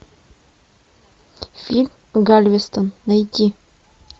фильм галвестон найти